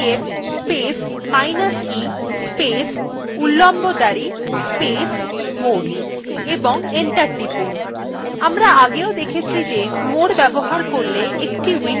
ps space minus e space উল্লম্ব দাঁড়ি space more এবং enter টিপুন